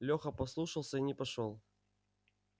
леха послушался и не пошёл